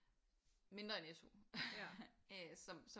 Mindre end SU øh som så